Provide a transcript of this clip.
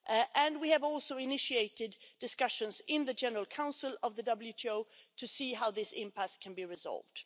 And we have also initiated discussions in the General Council of the WTO to see how this impasse can be resolved.